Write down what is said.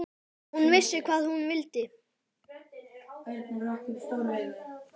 Hún vissi hvað hún vildi.